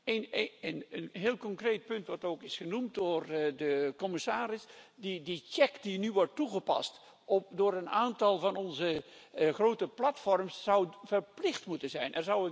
Een heel concreet punt, wat ook is genoemd door de commissaris de check die nu wordt toegepast op een aantal van onze grote platforms zou verplicht moeten zijn.